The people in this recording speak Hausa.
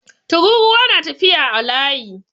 Tururuwa na tafiya a layi